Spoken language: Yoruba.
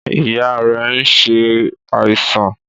Ìyá rẹ̀ nsẹ àìsàn.